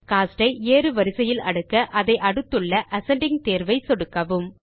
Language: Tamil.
கோஸ்ட் ஐ ஏறு வரிசையில் அடுக்க அதை அடுத்துள்ல அசெண்டிங் தேர்வை சொடுக்கவும்